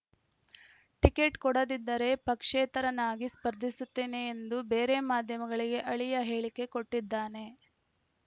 ticket ಕೊಡದಿದ್ದರೆ ಪಕ್ಷೇತರನಾಗಿ ಸ್ಪರ್ಧಿಸುತ್ತೇನೆ ಎಂದು ಬೇರೆ ಮಾಧ್ಯಮಗಳಿಗೆ ಅಳಿಯ ಹೇಳಿಕೆ ಕೊಟ್ಟಿದ್ದಾನೆ